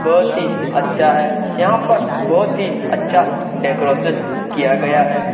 बहुत ही अच्छा है यहां पर बहोत ही अच्छा डेकोरेशन किया गया है।